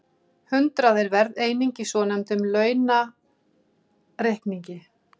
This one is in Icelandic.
Hundrað er verðeining í svonefndum landaurareikningi.